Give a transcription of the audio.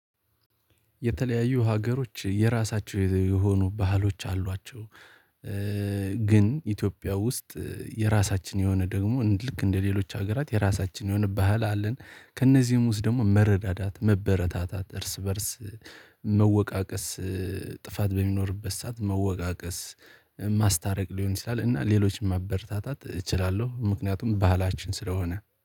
የተለያዩ ሀገሮች የራሳቸው የሆኑ ባህሎች አሏቸው። ግን ኢትዮጵያ ውስጥ የራሳችን የሆነ ደግሞ ልክ እንደሌሎች ሀገራት የራሳችን የሆነ ባህል አለን። ከእነዚህም ውስጥ ደግሞ መረዳዳት መበረታታት እርስ በእርስ መወቃቀስ። ጥፋት በሚኖርበት ሰዓት መወቃቀስ ማስታረቅ ሊሆን ይችላል እና ሌሎችም ማበረታታት እችላለሁ። ምክንያቱም ባህላችን ስለሆነ